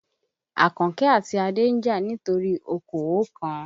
Àkànkẹ́ àti Adé ń jà nítorí okòó kan.